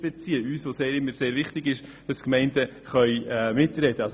Uns ist es ja immer sehr wichtig, dass die Gemeinden mitsprechen können.